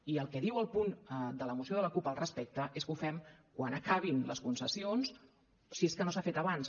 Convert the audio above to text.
i el que diu el punt de la moció de la cup al respecte és que ho fem quan acabin les concessions si és que no s’ha fet abans